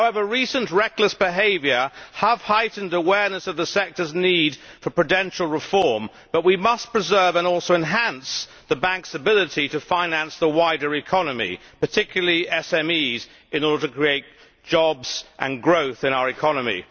However recent reckless behaviour has heightened awareness of the sector's need for prudential reform, but we must preserve, and also enhance, the banks' ability to finance the wider economy, particularly SMEs, in order to create jobs and growth in our economy.